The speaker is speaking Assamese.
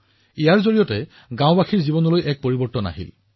ই সমগ্ৰ গাওঁখনৰ জীৱনলৈ এক ডাঙৰ পৰিৱৰ্তন আনিছে